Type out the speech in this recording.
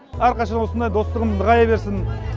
әрқашан осындай достығымыз нығая берсін